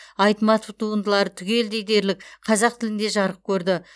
айтматов туындылары түгелдей дерлік қазақ тілінде жарық көрді